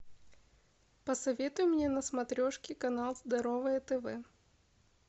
посоветуй мне на смотрешке канал здоровое тв